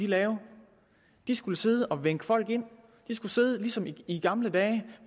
lave de skulle sidde og vinke folk ind de skulle sidde ligesom i i gamle dage